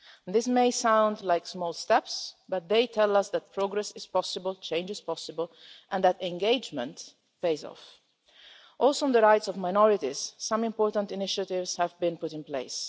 These may sound like small steps, but they tell us that progress is possible, change is possible and that engagement pays off. Also on the rights of minorities, some important initiatives have been put in place.